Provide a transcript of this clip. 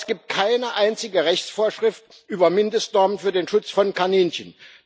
Aber es gibt keine einzige Rechtsvorschrift über Mindestnormen für den Schutz von Kaninchen.